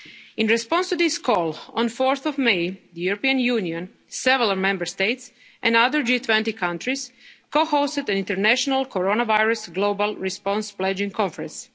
and vaccines. In response to this call, on 4 May, the European Union, several Member States and other G20 countries co-hosted the International Coronavirus Global Response